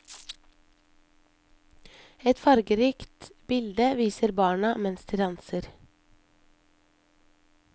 Et fargerikt bilde viser barna mens de danser.